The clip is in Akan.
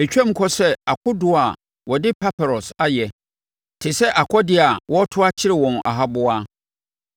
Ɛtwam kɔ sɛ akodoɔ a wɔde paparɔs ayɛ te sɛ akɔdeɛ a wɔreto akyere wɔn ahaboa.